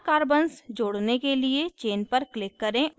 chain carbons जोड़ने के लिए chain पर click करें और इसे खींचें